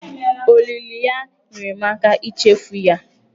Olili ya nyeere m aka ichefu ya.